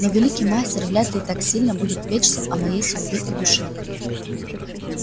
но великий мастер вряд ли так сильно будет печься о моей судьбе и душе